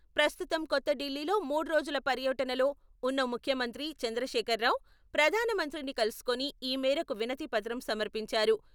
ప్రస్తుతం కొత్త ఢిల్లీలో మూడ్రోజుల పర్యటనలో ఉన్న ముఖ్యమంత్రి చంద్రశేఖర్ రావు ప్రధానమంత్రిని కలుసుకుని ఈ మేరకు వినతిపత్రం సమర్పించారు.